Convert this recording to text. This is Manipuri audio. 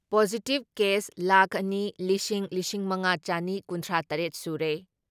ꯄꯣꯖꯤꯇꯤꯞ ꯀꯦꯁ ꯂꯥꯈ ꯑꯅꯤ ꯂꯤꯁꯤꯡ ꯂꯤꯁꯤꯡ ꯃꯉꯥ ꯆꯅꯤ ꯀꯨꯟꯊ꯭ꯔꯥ ꯇꯔꯦꯠ ꯁꯨꯔꯦ ꯫